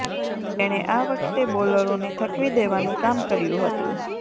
તેણે આ વખતે બોલરોને થકવી દેવાનુ કામ કર્યુ હતુંં